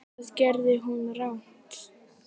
Hvað gerði hún rangt?